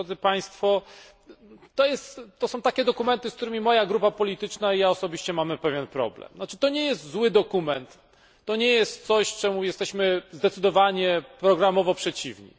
To są takie dokumenty, z którymi moja grupa polityczna i ja osobiście mamy pewien problem. To nie jest zły dokument, to nie jest coś, czemu jesteśmy zdecydowanie programowo przeciwni.